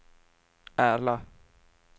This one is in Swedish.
Ärla